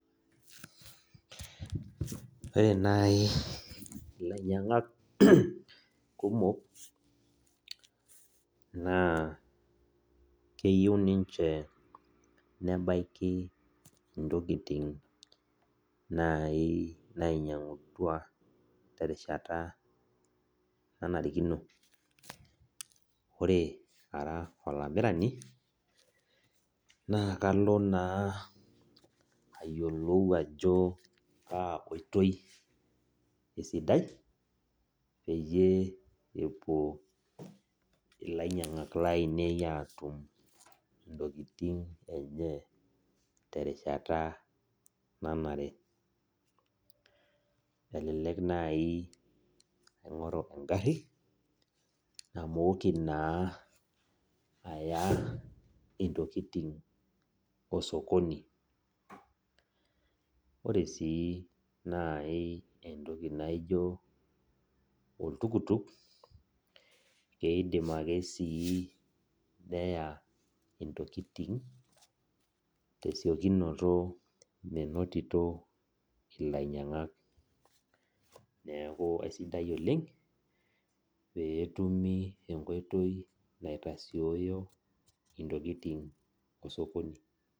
Ore nai ilainyangak kumok na keyieu ninche nebaiki ntokitin nainyangutua terishata nanarikino ore ara olamirani na kalo na ayiolou ajo kaaotoi esidai peyie epuo lainyangak lainei atum ntokitin enye terishata nanare elelek nai aingoru engari namoki na aya ntokitin osokoni ore si nai entoki naijo oltukutuk na kidim ake nai neya ntokitin tesiokinoto meinoto lainyangak neakubesidai oleng petumi enkoitoi naitasioyo ntokikin osokoni.